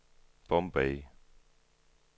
Bombay